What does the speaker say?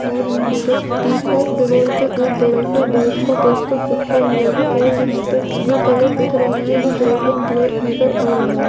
और यहाँ पे पीछे दीवाल पे एक बड़ा-सा बाइक का पोस्टर चिपका हुआ है और यहाँ पर जो कलर दिख रहे है वो व्हाइट एंड ब्लैक नजर आ रहे है।